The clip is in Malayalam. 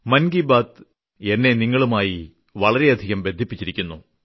മൻ കി ബാത് എന്നെ നിങ്ങളുമായി വളരെയധികം ബന്ധിപ്പിച്ചിരിക്കുന്നു